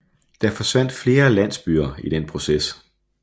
Der forsvandt flere landsbyer i den proces